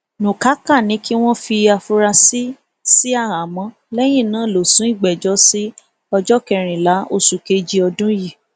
nukáká ní kí wọn fi àfúrásì sí àhámọ lẹyìn náà lọ sún ìgbẹjọ sí ọjọ kẹrìnlá oṣù kejì ọdún yìí